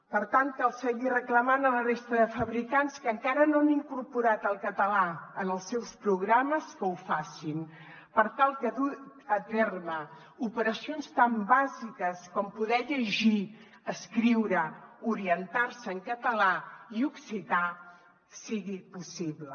per tant cal seguir reclamant a la resta de fabricants que encara no han incorporat el català en els seus programes que ho facin per tal que dur a terme operacions tan bàsiques com poder llegir escriure orientar se en català i occità sigui possible